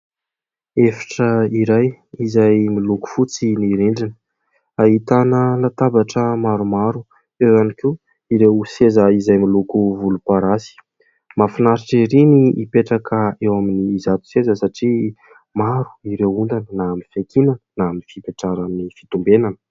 Efitra iray izay miloko fotsy ny rindrina. Ahitana latabatra maromaro, eo ihany koa ireo seza izay miloko volomparasy mahafinaritra ery ny mipetraka eo amin' izato seza satria maro ireo ondana na amin' ny fiankinana na amin' ny fipetraran' ny fitombenana.